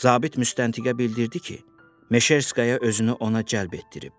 Zabit müstəntiqə bildirdi ki, Meşerskaya özünü ona cəlb etdirib.